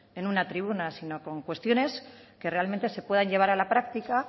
en una tribuna sino con cuestiones que realmente se puedan llevar a la práctica